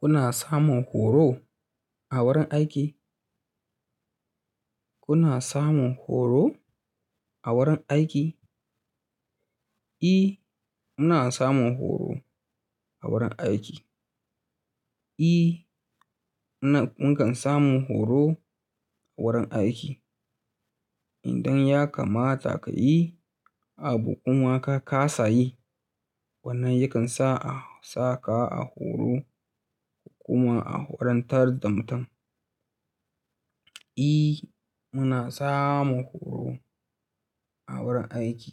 Kuna samun horo a wurin aiki? Kuna samun horo a wurin aiki? E, muna samun horo a wurin aiki. Eh na mun kan samu horo wurin aiki idan ya kamata ka yi abu kuma ka kasa yi, wannan yakan sa a saka a horo kuma a horantar da mutum. E, muna samun horo a wurin aiki.